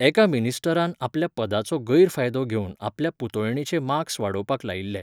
एका मिनिस्टरान आपल्या पदाचो गैरफायदो घेवन आपल्या पुतोयणेचे मार्क्स वाडोवपाक लायिल्ले